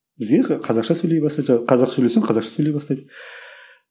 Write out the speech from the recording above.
бізге қазақша сөйлей бастады қазақша сөйлесең қазақша сөйлей бастайды